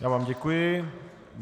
Já vám děkuji.